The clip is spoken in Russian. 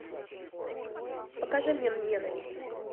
покажи мне ненависть